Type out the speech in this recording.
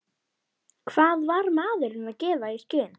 Hvað var maðurinn að gefa í skyn?